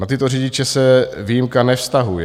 Na tyto řidiče se výjimka nevztahuje.